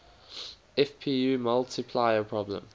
fpu multiplier problem